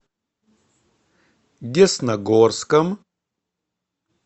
десногорском